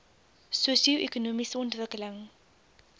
sosio ekonomiese ontwikkeling